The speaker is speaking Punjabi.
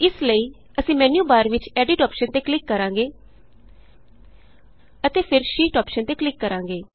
ਇਸ ਲਈ ਅਸੀਂ ਮੈਨਯੂਬਾਰ ਵਿਚ Editਅੋਪਸ਼ਨ ਤੇ ਕਲਿਕ ਕਰਾਂਗੇ ਅਤੇ ਫਿਰ Sheetਅੋਪਸ਼ਨ ਤੇ ਕਲਿਕ ਕਰਾਂਗੇ